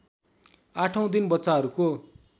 आठौँ दिन बच्चाहरूको